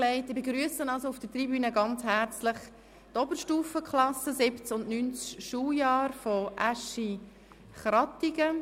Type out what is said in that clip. Ich begrüsse auf der Tribüne sehr herzlich die Oberstufenklassen des siebten und neunten Schuljahres der Oberstufenschule Aeschi-Krattigen.